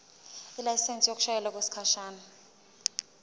ilayisensi yokushayela okwesikhashana